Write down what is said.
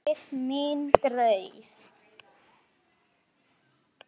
Leið mín greið.